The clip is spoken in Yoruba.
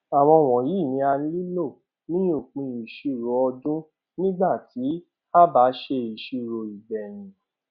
àwọn wọnyí ni a nílò ní òpin ìṣirò ọdún nígbà tí a bá ṣe ìṣirò ìgbèyìn